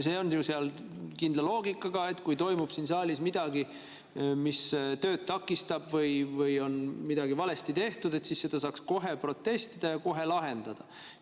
See on seal kindla loogikaga, et kui toimub siin saalis midagi, mis tööd takistab, või on midagi valesti tehtud, siis saaks kohe protestida ja kohe lahendada.